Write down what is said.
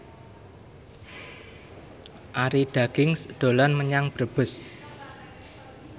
Arie Daginks dolan menyang Brebes